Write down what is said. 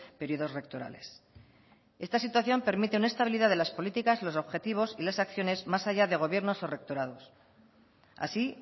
periodos rectorales esta situación permite una estabilidad de las políticas los objetivos y las acciones más allá de gobiernos o rectorados así